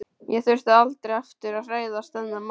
Ég þurfti aldrei aftur að hræðast þennan mann.